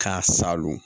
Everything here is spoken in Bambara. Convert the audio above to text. K'a salon